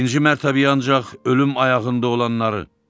birinci mərtəbəyə ancaq ölüm ayağında olanları.